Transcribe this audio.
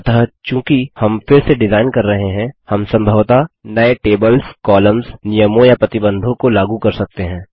अतः चूँकि हम फिर से डिजाइन कर रहे हैं हम सम्भवतः नए टेबल्स कॉलम्स नियमों या प्रतिबंधों को लागू कर सकते हैं